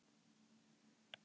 Hvar ertu með bensíndunkana?